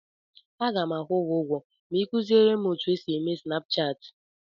Aga m akwụ gị ụgwọ ma ị kuziere m otu esi eme Snapchaatị.